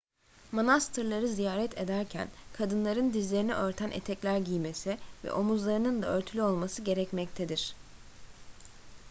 manastırları ziyaret ederken kadınların dizlerini örten etekler giymesi ve omuzlarının da örtülü olması gerekmektedir